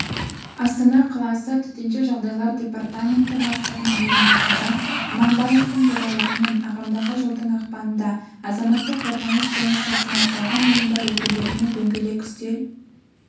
астана қаласы төтенше жағдайлар департаменті бастығының орынбасары аманбаевтың төрағалығымен ағымдағы жылдың ақпанында азаматтық қорғаныс бойынша санатталған ұйымдар өкілдерімен дөңгелек үстел